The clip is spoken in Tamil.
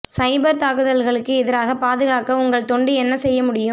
சைபர் தாக்குதல்களுக்கு எதிராக பாதுகாக்க உங்கள் தொண்டு என்ன செய்ய முடியும்